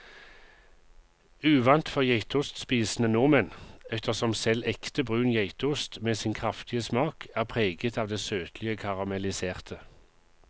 Uvant for geitostspisende nordmenn, ettersom selv ekte brun geitost med sin kraftige smak er preget av det søtlige karamelliserte.